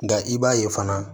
Nka i b'a ye fana